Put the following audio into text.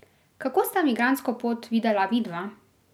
Kako sta migrantsko pot videla vidva?